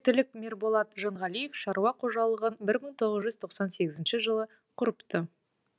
теректілік мерболат жанғалиев шаруа қожалығын бір мың тоғыз жүз тоқсан сегізінші жылы құрыпты